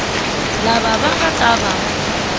lava va nga ta va